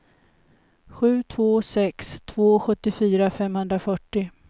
sju två sex två sjuttiofyra femhundrafyrtio